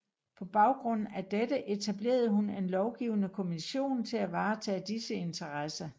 På bagrund af dette etablerede hun en lovgivende kommission til at varetage disse interesser